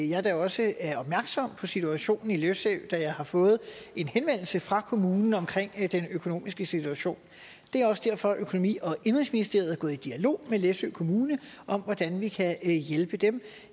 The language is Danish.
jeg da også er opmærksom på situationen på læsø da jeg har fået en henvendelse fra kommunen om den økonomiske situation det er også derfor at økonomi og indenrigsministeriet er gået i dialog med læsø kommune om hvordan vi kan hjælpe dem